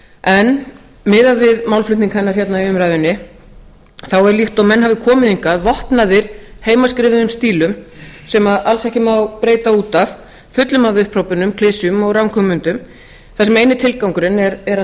en miðað við málflutning hennar hérna í umræðunni er líkt og menn hafi komið hingað vopnaðir heimaskrifuðum stílum sem alls ekki má breyta út af fullum af upphrópunum klisjum og ranghugmyndum þar sem eini tilgangurinn er að